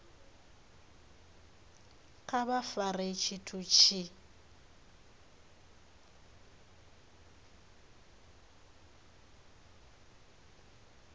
kha vha fare tshithu tshi